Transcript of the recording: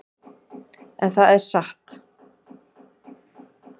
En það er satt.